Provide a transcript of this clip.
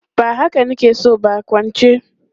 Ba haka na ke so ba, kwance!